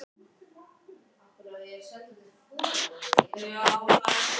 Verkstjórinn var fámáll harðjaxl.